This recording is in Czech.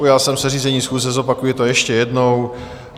Ujal jsem se řízení schůze, zopakuji to ještě jednou.